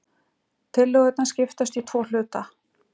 Tillögurnar skiptast í tvo hluta